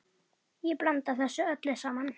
Ég blanda þessu öllu saman.